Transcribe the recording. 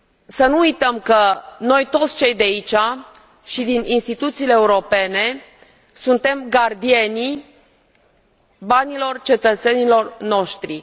Să nu uităm că noi, toți cei de aici și din instituțiile europene, suntem gardienii banilor cetățenilor noștri.